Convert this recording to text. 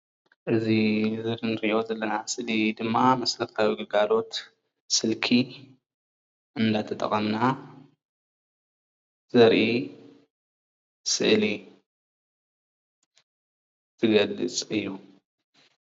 እዚ ንሪኦ ዘለና ስእሊ ደማ መሰረታዊ ግልጋሎት ስልኪ እናተጠቀምና ዘርኢ ስእሊ ዝገልፅ እዩ።